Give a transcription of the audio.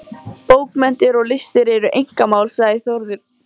Bókmenntir og listir eru einkamál, sagði Þórður.